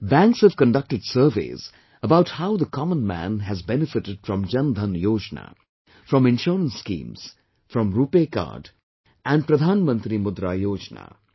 Banks have conducted surveys about how the common man has benefitted from Jan DhanYojna, from Insurance Schemes, from RuPay Card and Pradhan Mantri Mudra Yojna